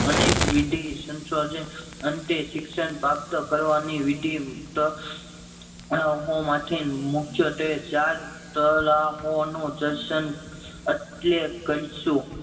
અનેક વિધિ સંશોધક અંતે શિક્ષણ પ્રાપ્ત કરવાની વિધિ આ તો હો માંથી મુખ્ય ત્વે ચાર તરાહ નું એટલે કરશુ